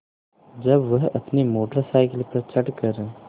जब वह अपनी मोटर साइकिल पर चढ़ कर